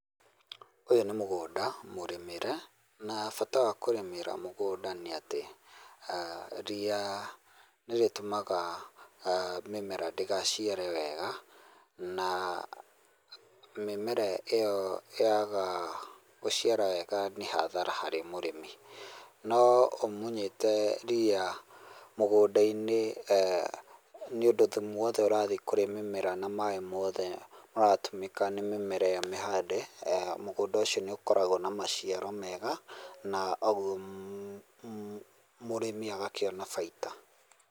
Ūyū nī mūgūnda mūrīmīre na bata wa kurīmīra mūgūnda nī atī aa rīa nīrūtūmaga ahh mīmemera ndīngacīarīe wega na mīmerara īyo yaga gucīara wega nī hadhara harī murīmī no ūmuthete rīa mūgūnda-inī eeh nī ūndū thūmū wothe ūrathīe kūrī mīmera na maaī mothe maratūmīka nī mīmera īyo mīhande eeh mūgūnda ūcīo nī ūkoragūo na macīaro mega na ūgūo mmh mmh murīmī agakīona baīta.